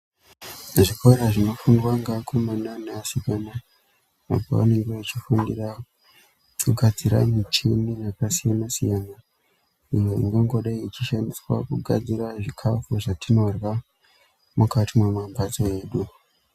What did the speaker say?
Zvikora zvinofundwa ngeakomana neasikana apo vanenge vachifundira kugadzira michini yakasiyana-siyana iyo ingangodai ichishandiswa kugadzira zvikafu zvatinorya mukati mwemambatso edu.